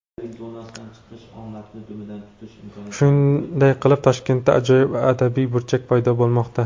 Shunday qilib, Toshkentda ajoyib adabiy burchak paydo bo‘lmoqda.